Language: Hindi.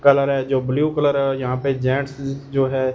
कलर है जो ब्लू कलर और यहाँ पे जेंट्स जो है।